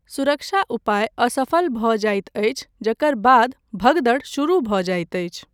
सुरक्षा उपाय असफल भऽ जाइत अछि जकर बाद भगदड़ शुरू भऽ जाइत अछि।